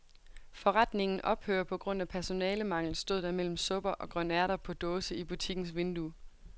Forretningen ophører på grund af personalemangel, stod der mellem supper og grønærter på dåse i butikkens vindue.